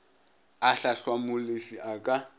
a hlahlwa molefi a ka